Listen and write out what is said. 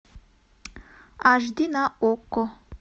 аш ди на окко